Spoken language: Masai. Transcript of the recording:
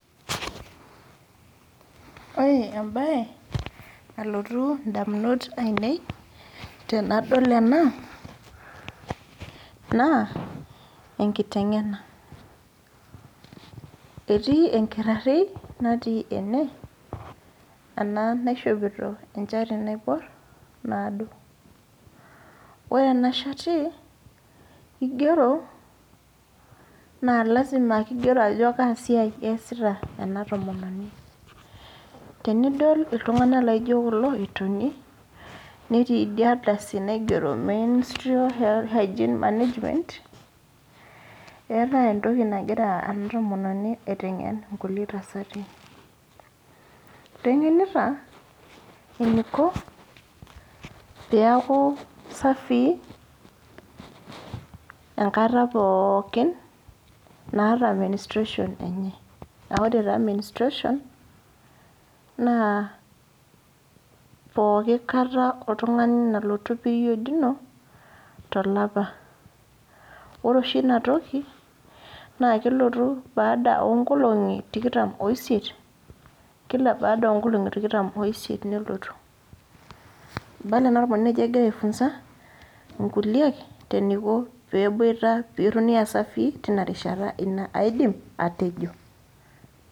Ore ebae, nalotu indamunot ainei tenadol ena, naa, enkiteng'ena. Etii enkitarri natii ene, ena naishopito enchati naibor, naado. Ore ena shati, kigero, na lasima kigero ajo kasiai eesita ena tomononi. Tenidol iltung'anak laijo kulo etoni, netii idia ardasi naigero menstrual hygiene management, eetae entoki nagira ena tomononi aiteng'en inkulie tasati. Iteng'enita, eniko peku safii, enkata pookin naata menstruation enye. Ah ore taa menstruation, naa pooki kata oltung'ani nalotu period ino, tolapa. Ore oshi inatoki, naa kelotu baada onkolong'i tikitam oisiet, kila baada onkolong'i tikitam oisiet nelotu. Ibala ena tomononi ajo egira ai funza, inkuliek, eniko peboita petoni asafii, tinarishata. Ina aidim, atejo.